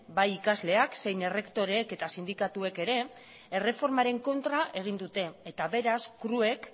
bai ikasleek zein errektoreek eta sindikatuek ere erreformaren kontra egin dute eta beraz cruek